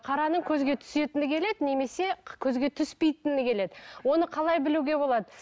қараның көзге түсетіні келеді немесе көзге түспейтіні келеді оны қалай білуге болады